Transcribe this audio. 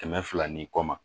Kɛmɛ fila ni kɔ ma